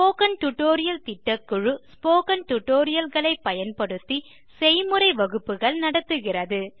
spoken tutorial திட்டக்குழு spoken tutorial களை பயன்படுத்தி செய்முறை வகுப்புகள் நடத்துகிறது